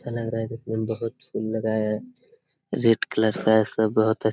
अच्छा लग रहा है दिखने में बहुत फूल लगा है रेड कलर का है सब बहुत --